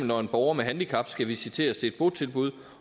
når en borger med handicap skal visiteres til et botilbud